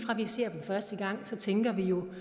ser første gang tænker vi jo